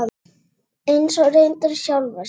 Eins og reyndar sjálfa sig.